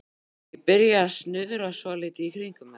Ég byrjaði að snuðra svolítið í kringum þetta.